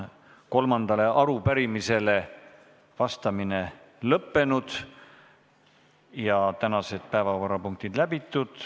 Kolmandale arupärimisele vastamine on lõppenud ja ka tänased päevakorrapunktid läbitud.